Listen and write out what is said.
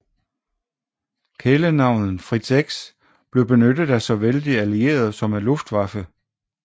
Kælenavnet Fritz X blev benyttet af såvel de allierede som af Luftwaffe